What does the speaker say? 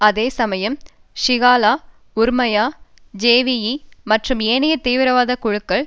அதே சமயம் சிஹல உறுமய ஜேவிபி மற்றும் ஏனைய தீவிரவாத குழுக்கள்